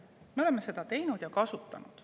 Me oleme seda teinud ja kasutanud.